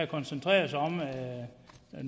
koncentreret sig om nogle forslag der